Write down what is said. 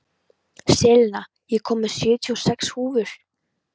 Selina, ég kom með sjötíu og sex húfur!